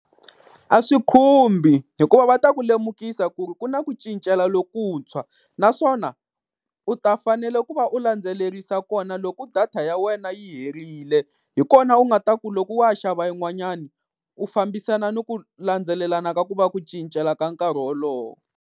A swi khumbi, hikuva va ta ku lemukisa ku ri ku na ku cincela lokuntshwa. Naswona u ta fanele ku va u landzelerisa kona loko data ya wena yi herile, hi kona u nga ta ku loko wo ya xava yin'wanyani u fambisana ni ku landzelelana ka ku va ku cincela ka nkarhi wolowo.